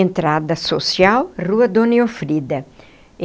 Entrada social, Rua Dona Elfrida.